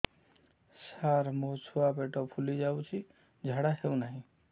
ସାର ମୋ ଛୁଆ ପେଟ ଫୁଲି ଯାଉଛି ଝାଡ଼ା ହେଉନାହିଁ